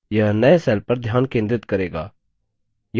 यह नए cell पर ध्यान केंद्रित करेगा